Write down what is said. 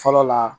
Fɔlɔ la